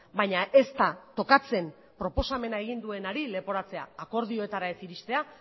baina ez da tokatzen proposamena egin duenari leporatzea akordioetara ez iristea